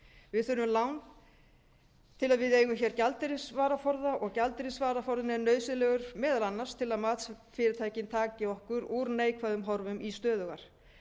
við þurfum lán til að við eigum gjaldeyrisvaraforða og gjaldeyrisvaraforðinn er nauðsynlegur til þess meðal annars til að matsfyrirtækin taki okkur úr neikvæðum horfum í stöðugar